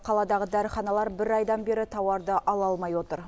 қаладағы дәріханалар бір айдан бері тауарды ала алмай отыр